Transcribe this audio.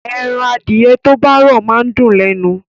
Ẹran adìẹ tó bá rọ̀ máa ń dùn lẹ́nu